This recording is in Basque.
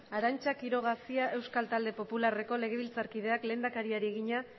arantza quiroga cia euskal talde popularreko legebiltzarkideak lehendakariari egina